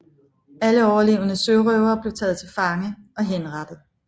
Alle overlevende sørøvere blev taget til fange og henrettet